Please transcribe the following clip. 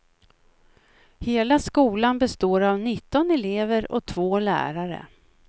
Hela skolan består av nitton elever och två lärare.